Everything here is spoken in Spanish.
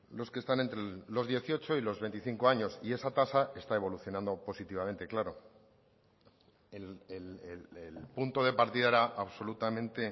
los que están entre los dieciocho y los veinticinco años y esa tasa está evolucionando positivamente claro el punto de partida era absolutamente